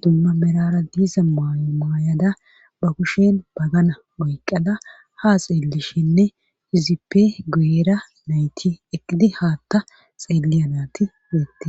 dumma merara diiza maayo maayada ba kushen bagana oyqada ha xeellishinne hizippe gu7era nayti eqidi haatta xeelliyanati deette